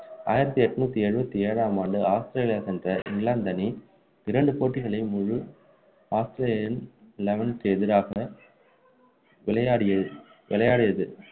ஆயிரத்து எண்ணூற்று எழுபத்தி ஏழாம் ஆண்டு ஆஸ்திரேலியா சென்ற இங்கிலாந்து அணி இரண்டு போட்டிகளின்போது ஆஸ்திரேலியா அணி eleven க்கு எதிராக விளையாடி விளையாடியது